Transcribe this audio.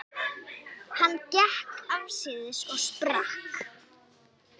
Hann gekk afsíðis og sprakk.